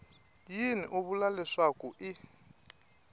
yini u vula leswaku i